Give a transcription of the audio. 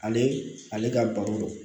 Ale ale ka baro